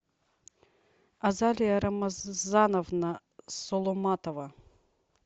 азалия рамазановна соломатова